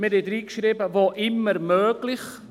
Wir schreiben «wo immer möglich».